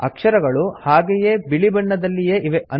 ಅಕ್ಷರಗಳು ಹಾಗೇ ಬಿಳಿಬಣ್ಣದಲ್ಲಿಯೇ ಇವೆ